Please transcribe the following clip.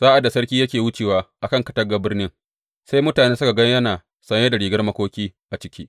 Sa’ad da sarki yake wucewa a kan katangar birnin, sai mutane suka gan yana saye da rigar makoki a ciki.